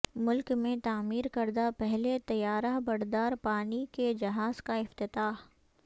ملک میں تعمیر کردہ پہلے طیارہ بردار پانی کے جہاز کا افتتاح